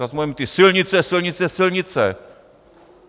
Zas budeme mít ty silnice, silnice, silnice.